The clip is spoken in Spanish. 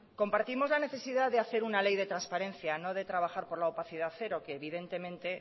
compartimos la necesidad de hacer una ley de transparencia no de trabajar por la opacidad cero que evidentemente